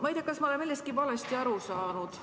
Ma ei tea, kas ma olen millestki valesti aru saanud.